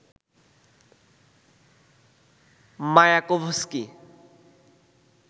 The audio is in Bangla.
মায়াকোভস্কি